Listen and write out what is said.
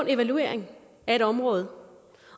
evaluering af et område